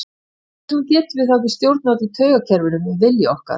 Hvers vegna getum við þá ekki stjórnað öllu taugakerfinu með vilja okkar?